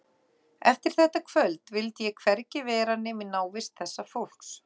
Eftir þetta kvöld vildi ég hvergi vera nema í návist þessa fólks.